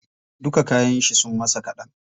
Duka kayan shi sun masa kaɗan.